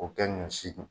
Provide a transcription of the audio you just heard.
O kɛ ɲɔ si dun